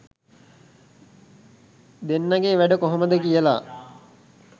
දෙන්නගෙ වැඩ කොහොමද කියල.